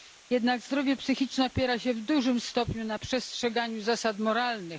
Jednak zdrowie psychiczne opiera się w dużym stopniu na przestrzeganiu zasad moralnych.